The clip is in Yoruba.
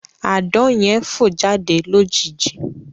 Àdán yẹn fọ̀ jáde lójijì